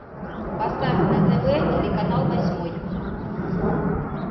поставь на тв телеканал восьмой